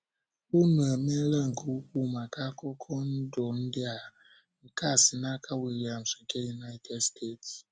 Unu emeela nke ukwuu maka akụkọ ndụ ndị a. ”nkea si n'aka William nke United Steeti.